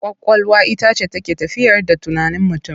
Ƙwaƙwalwa ita ce take tafiyar da tunanin mutum.